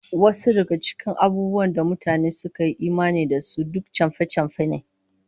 Wasu daga cikin abubuwan da mutane suka yi imani da su, duk chamfe-chamfe ne